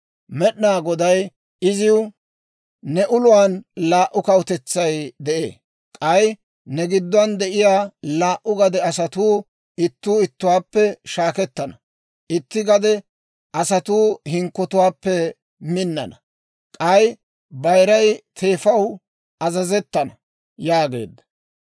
Med'inaa Goday iziw, «Ne uluwaan laa"u kawutetsay de'ee; K'ay ne gidduwaan de'iyaa laa"u gade asatuu ittuu ittuwaappe shaakettana; Itti gade asatuu hinkkotuwaappe minnana; K'ay bayiray teefaw azazettana» yaageedda.